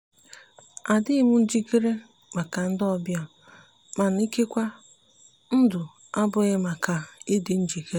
adịghị m njikere maka ndị ọbịa mana ikekwe ndụ abụghị maka ịdị njikere.